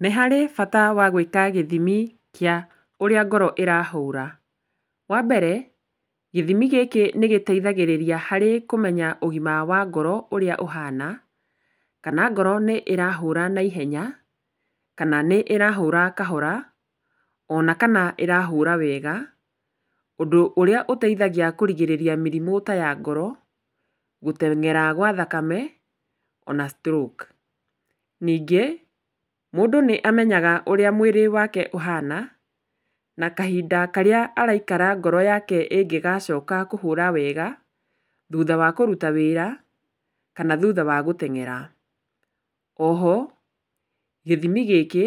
Nĩ harĩ bata wa gwĩka gĩthimi kĩa ũrĩa ngoro ĩrahũra. Wa mbere, gĩthimi gĩkĩ nĩgĩteithagia harĩ kũmenya ũgima wa ngoro ũrĩa ũhana, kana ngoro nĩ ĩrahũra na ihenya, kana nĩ ĩrahũra kahora, ona kana ĩrahũra wega, ũndũ ũrĩa ũteithagia kũrigĩrĩria mĩrimũ ta ya ngoro, gũteng'era gwa thakame ona stroke. Ningĩ mũndũ nĩamenyaga ũrĩa mwĩrĩ wake ũhana, na kahinda karĩa araikara ngoro yake ĩngĩgacoka kũhũra wega thuutha wa kũruta wĩra kana thuutha wa gũteng'era. O ho, gĩthimi gĩkĩ